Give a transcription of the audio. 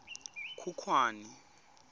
khukhwane